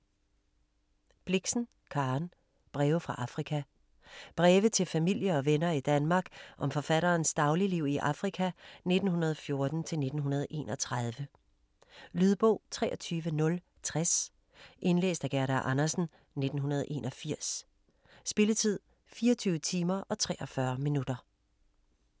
Blixen, Karen: Breve fra Afrika Breve til familie og venner i Danmark om forfatterens dagligliv i Afrika 1914-1931. Lydbog 23060 Indlæst af Gerda Andersen, 1981. Spilletid: 24 timer, 43 minutter.